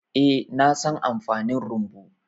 Eh, na san amfanin rumbu.